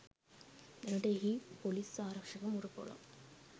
දැනට එහි පොලිස් ආරක්ෂක මුර පොලක්